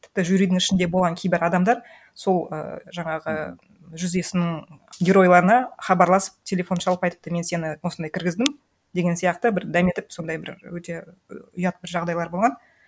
тіпті жюридің үшінде болған кейбір адамдар сол і жаңағы жүз есімнің геройларына хабарласып телефон шалып айтыпты мен сені осындай кіргіздім деген сияқты бір дәметіп сондай бір өте ұят бір жағдайлар болған